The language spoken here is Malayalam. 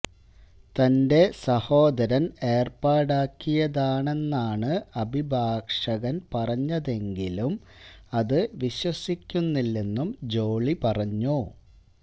തന്റെ സഹോദരൻ ഏർപ്പാടാക്കിയതാണെന്നാണ് അഭിഭാഷകൻ പറഞ്ഞതെങ്കിലും അതു വിശ്വസിക്കുന്നില്ലെന്നും ജോളി പറഞ്ഞു